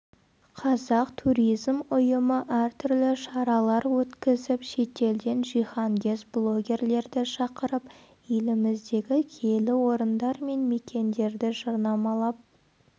қазақ туризм ұйымы әртүрлі шаралар өткізіп шетелден жиһангез блогерлерді шақырып еліміздегі киелі орындар мен мекендерді жарнамалап